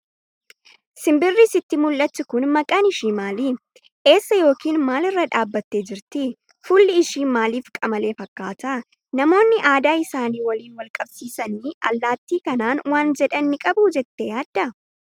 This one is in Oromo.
Simbirri sitti mul'attu kun maqaan ishii maali? Eessa yookiin maal irra dhaabbattee jirti? Fuulli ishii maaliif qamalee fakkaata? Namoonni aadaa isaanii waliin wal qabsiisanii, allaattii kanaan waan jedhan ni qabu jettee yaaddaa?